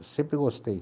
Eu sempre gostei.